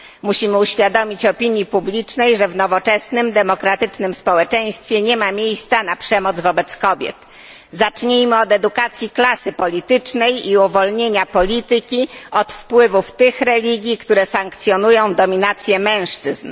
Musimy uświadomić opinii publicznej, że w nowoczesnym, demokratycznym społeczeństwie nie ma miejsca na przemoc wobec kobiet. Zacznijmy od edukacji klasy politycznej i uwolnienia polityki od wpływów tych religii, które sankcjonują dominację mężczyzn.